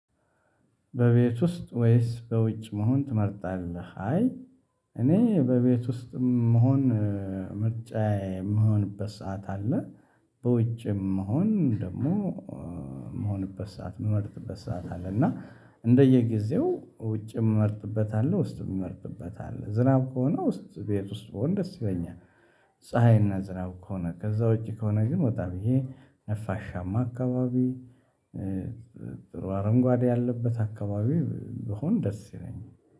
በቤት ውስጥ ወይስ በውጭ መሆን ትመርጣለህ? አይ እኔ በቤት ውስጥ መሆን ምርጫዬ የምሆንበት ሰዓት አለ። በውጭም መሆን ደግሞ የምሆንበት ሰዓት ምመርጥበት ሰዓት አለ። እና እንደየጊዜው ውጭ ምመርጥበት አለ ውስጥ የሚመርጥበት አለ። ዝናብ ከሆነ ውስጥ ቤት ውስጥ ብሆን ደስ ይለኛል። ፀሀይና ዝናብ ከሆነ ከዛ ውጪ ከሆነ ግን ወጣ ብዬ ነፋሻማ አካባቢ ጥሩ አረንጓዴ ያለበት አከባቢ ብሆን ደስ ይለኛል።